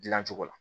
Dilancogo la